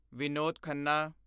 Vinod Khanna